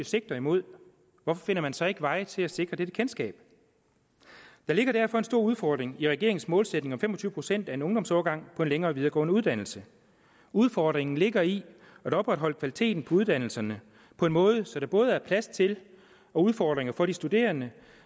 sigter mod hvorfor finder man så ikke veje til at sikre dette kendskab der ligger derfor en stor udfordring i regeringens målsætning om fem og tyve procent af en ungdomsårgang på en længere videregående uddannelse udfordringen ligger i at opretholde kvaliteten i uddannelserne på en måde så der både er plads til og udfordringer for de studerende